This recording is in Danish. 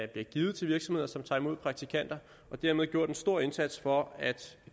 bliver givet til virksomheder som tager imod praktikanter og dermed gjort en stor indsats for at